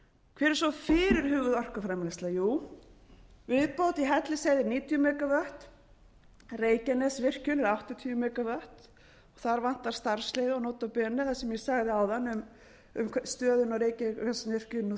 hver er svo fyrirhuguð orkuframleiðsla jú viðbót í hellisheiði níutíu megavatt reykjanesvirkjun er áttatíu megavatt þar vantar starfsleyfi og nota bene það sem ég sagði áðan um stöðuna á reykjanesvirkjun nú